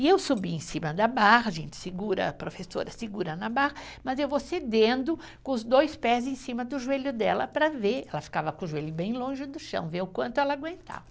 E eu subi em cima da barra, a gente segura, a professora segura na barra, mas eu vou cedendo com os dois pés em cima do joelho dela para ver, ela ficava com o joelho bem longe do chão, ver o quanto ela aguentava.